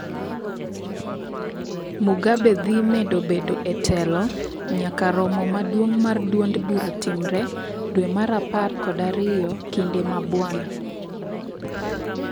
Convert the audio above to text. Mugabe dhii medo bedo etelo nyaka romo maduong mar duond bura timre dwee mar apar kod ariyo kinde ma BWANA.